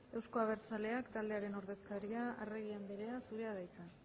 ez euzko abertzaleak taldearen ordezkaria arregi andrea zurea da hitza